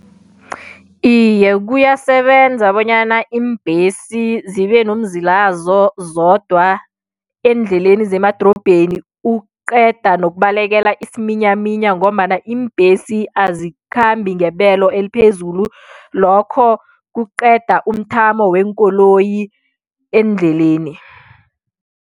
Iye kuyasebenza bonyana iimbesi zibe nomzila wazo zodwa eendleleni zemadorobheni ukuqeda nokubalekela isiminyaminya ngombana iimbhesi azikhambi ngebelo eliphezulu lokho kuqeda umthamo weenkoloyi eendleleni.